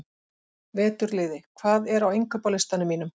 Veturliði, hvað er á innkaupalistanum mínum?